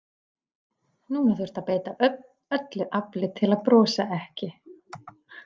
Núna þurfti að beita öllu afli til að brosa ekki.